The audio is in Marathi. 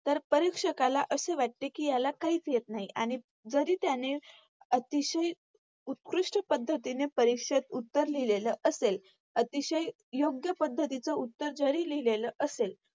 तर परीक्षकाला असे वाटते कि याला काहीच येत नाही आणि जरी त्याने अतिशय उत्कृष्ठ पद्धतीने परीक्षेत उत्तर लिहलेलं असेल, अतिशय योग्य पद्धतीचं उत्तर जरी लिहलेलंअसेल